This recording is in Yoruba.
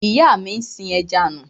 Ìyá mi sin ẹja nù.